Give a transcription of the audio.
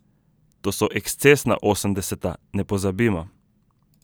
To so ekscesna osemdeseta, ne pozabimo.